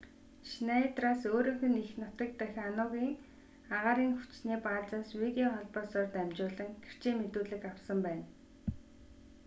шнайдераас өөрийнх нь эх нутаг дахь ану-ын агаарын хүчний баазаас видео холбоосоор дамжуулан гэрчийн мэдүүлэг авсан байна